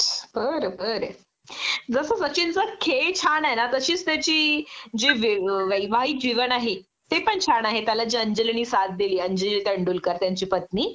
बर बर. जस सचिनचं खेळ छान आहे ना तशीच त्याची जी वैवाहिक जीवन आहे ते पण छान आहे त्याला जी अंजलीनी साथ दिली, अंजली तेंडुलकर त्याची पत्नी